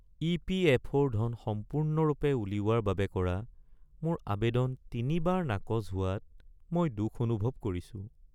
ই.পি.এফ.অ’.ৰ ধন সম্পূৰ্ণৰূপে উলিওৱাৰ বাবে কৰা মোৰ আৱেদন তিনিবাৰ নাকচ হোৱাত মই দুখ অনুভৱ কৰিছোঁ।